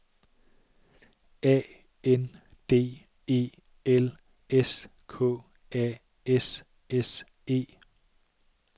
A N D E L S K A S S E